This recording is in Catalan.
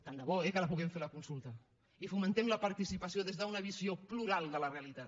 tant de bo eh que la puguem fer la consulta i fomentem la participació des d’una visió plural de la realitat